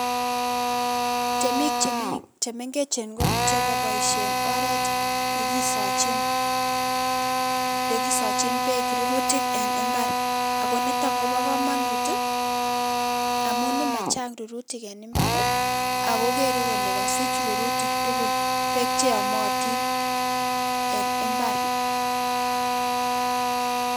Temik chemengechen komuche koboisien oret nekisochin, nekisochin beek rurutik en mbar akonitok kobokomonut, amun machang' rirutik en mbar ako kere kole kosich rurutik tugul beek cheyomotin en mbar.